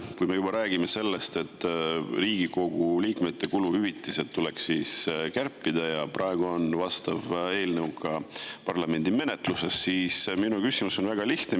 Kui me juba räägime sellest, et Riigikogu liikmete kuluhüvitisi tuleks kärpida – praegu on vastav eelnõu ka parlamendi menetluses –, siis minu küsimus on väga lihtne.